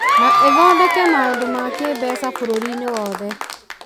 na ithondeke maũndũ ma kĩĩmbeca bũrũri-inĩ wothe.